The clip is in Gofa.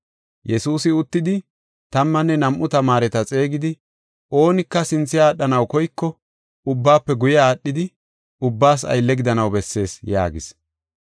Yesuusi uttidi, tammanne nam7u tamaareta xeegidi, “Oonika sinthe aadhanaw koyko, ubbaafe guye aadhidi, ubbaas aylle gidanaw bessees” yaagis.